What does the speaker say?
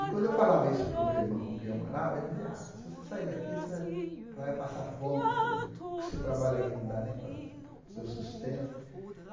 E quando eu falava isso para o meu irmão com quem eu morava, ele dizia, ah se você sair daqui, você vai vai passar fome, porque você não o que você trabalha aqui não dá nem para o seu sustento.